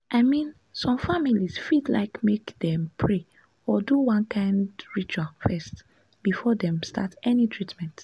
i mean some families fit like make dem pray or do one kind ritual first before dem start any treatment.